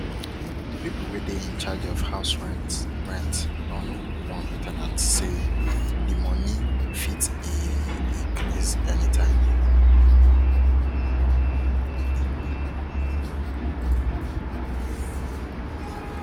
the people wey dey in charge of house rent rent don warn ten ants say the money fit e increase any time